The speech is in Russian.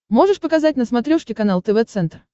можешь показать на смотрешке канал тв центр